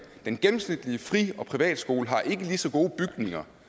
den gennemsnitlige frie og privatskole har ikke lige så gode bygninger